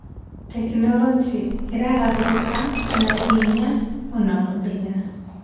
Tekinoronjĩ ĩragarũrũka nauhenya o mũthenya.